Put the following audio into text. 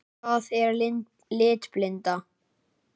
Hvað er litblinda?